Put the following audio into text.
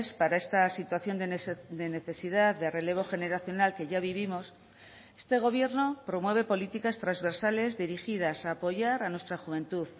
para esta situación de necesidad de relevo generacional que ya vivimos este gobierno promueve políticas transversales dirigidas a apoyar a nuestra juventud